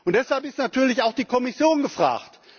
Deshalb ist natürlich auch die Kommission gefragt.